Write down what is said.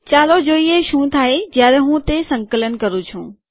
ચાલો જોઈએ શું થાય જયારે હું તે સંકલન કરું છું